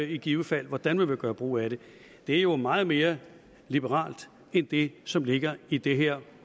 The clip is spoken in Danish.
i givet fald hvordan man vil gøre brug af det det er jo meget mere liberalt end det som ligger i det her